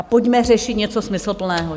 A pojďme řešit něco smysluplného.